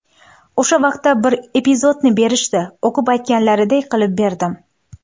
O‘sha vaqtda bir epizodni berishdi, o‘qib, aytganlariday qilib berdim.